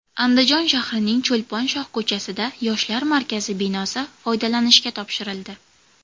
Andijon shahrining Cho‘lpon shohko‘chasida Yoshlar markazi binosi foydalanishga topshirildi.